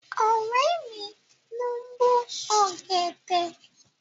Ọ̀rẹ́ mi ló ń bó ọ̀gẹ̀dẹ̀.